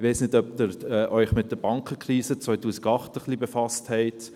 Ich weiss nicht, ob Sie sich ein wenig mit der Bankenkrise 2008 befasst haben.